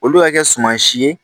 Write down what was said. Olu ka kɛ suma si ye